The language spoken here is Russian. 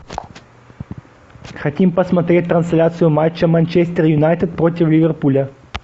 хотим посмотреть трансляцию матча манчестер юнайтед против ливерпуля